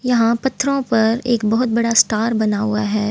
यहाँ पत्थरों पर एक बहुत बड़ा स्टार बना हुआ है।